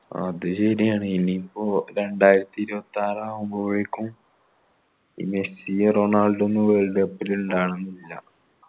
അത് ശരിയാണ് ഇനി ഇപ്പൊ രണ്ടായിരത്തിഇരുപ്പതിയാർ ആവുമ്പോഴേക്കും ഈ മെസ്സി റൊണാൾഡോ ഒന്നും world cup ൽ ഇണ്ടാവണമെന്നില്ല